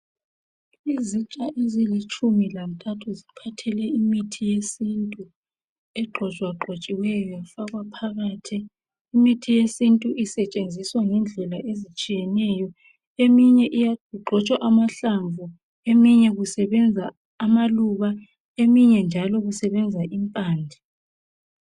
Izitsha ezilitshumi lantathu ziphathele imithi yesintu , egxotshwagxotshiweyo yafakwa phakathi , imithi yesintu isetshenziswa ngendlela ezitshiyeneyo eminye igxotshwa amahlamvu , eminye kusebenza amaluba, eminye njalo kusebenza impande